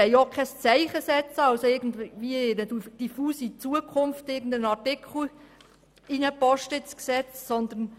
Wir wollen auch keine Zeichen setzen oder irgendeinen Artikel hinsichtlich irgendeiner diffusen Zukunft ins Gesetz schreiben.